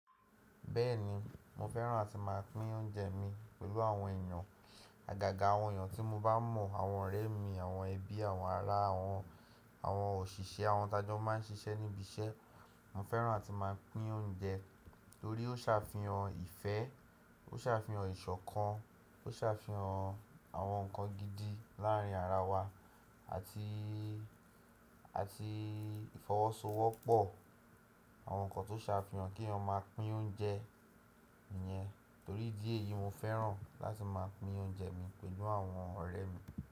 Bẹ́ẹ̀ni, mo fẹ́ràn láti má a pín oúnjẹ mi pẹ̀lú àwọn èèyàn, àgàgà àwọn èèyàn tí mo bá mọ̀, àwọn ọ̀rẹ́ mi, àwọn ẹbí, àwọn ará, àwọn òṣìṣẹ́, àwọn t'ajọ máa ń ṣiṣẹ́ ní ibi iṣẹ́. Mo fẹ́ràn láti má a pín oúnjẹ torí ó sàfihàn ìfẹ́, ó sàfihàn ìṣọ̀kan, ó sàfihàn àwọn nǹkan gidi láàrin ara wa àti, àti ìfọwọ́sowọ́pọ̀. Àwọn nǹkan tó sàfihàn kí wọn má a pín oúnjẹ yẹn torí díẹ̀ yìí mo fẹ́ràn láti má a pín oúnjẹ mi pẹ̀lú àwọn ọ̀rẹ́ mi.